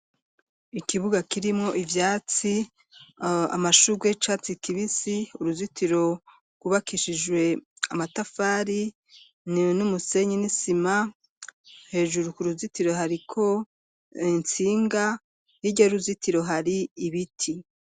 Ikibuga kirimwo, ivyatsi, amashurwe y'icatsi kibisi, uruzitiro rwubakishijwe amatafari, n'umusenyi, n'isima; hejuru ku ruzitiro, hariko intsinga, hirya y'uruzitiro, hari ibiti.